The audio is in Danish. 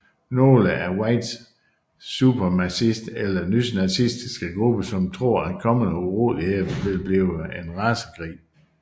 Nogle er white supremacist eller nynazistiske grupper som tror at kommende uroligheder vil blive en racekrig